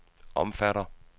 omfatter